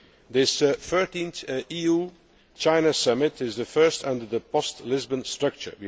This 13th EU China summit is the first under the post Lisbon structure.